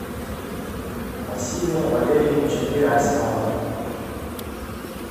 василия валерьевича герасимова